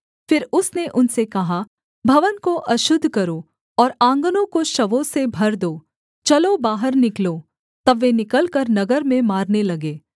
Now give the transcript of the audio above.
फिर उसने उनसे कहा भवन को अशुद्ध करो और आँगनों को शवों से भर दो चलो बाहर निकलो तब वे निकलकर नगर में मारने लगे